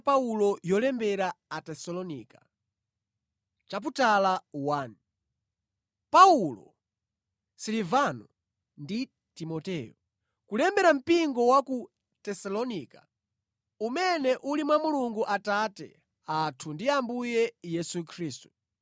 Paulo, Silivano ndi Timoteyo. Kulembera mpingo wa ku Tesalonika, umene uli mwa Mulungu Atate athu ndi Ambuye Yesu Khristu.